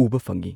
ꯎꯕ ꯐꯪꯉꯤ꯫